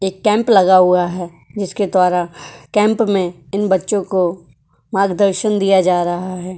एक कैंप लगा हुआ है जिसके द्वारा कैंप में इन बच्चों को मार्गदर्शन दिया जा रहा है।